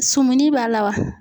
Sɔmunin b'a la wa?